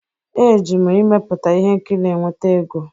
Eji m ịmepụta ihe nkiri enweta ego.